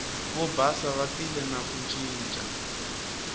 vobasa va tile na ku ncinca